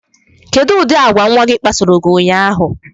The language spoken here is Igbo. Kedụ ụdị agwa nnwa gị kpasoro gị ụnyaahụ?